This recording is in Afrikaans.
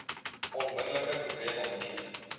onmiddelike probleem hanteer